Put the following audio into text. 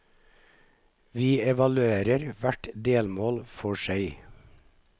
Vi evaluerer hvert delmål for seg.